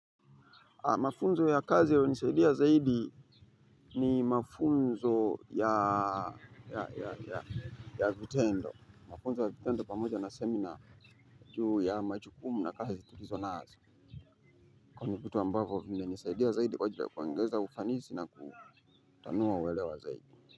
Mafunzo ya kazi yaliyo nisaidia zaidi ni mafunzo ya vitendo. Mafunzo ya vitendo pamoja na semina juu ya majukumu na kazi tulizo nazo. Kwa hivo ni vitu ambavo vimenisaidia zaidi kwa ajili kuongeza ufanisi na kutanuwa uwelewa zaidi.